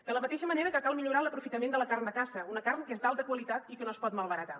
de la mateixa manera que cal millorar l’aprofitament de la carn de caça una carn que és d’alta qualitat i que no es pot malbaratar